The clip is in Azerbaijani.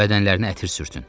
Bədənlərinə ətir sürtün.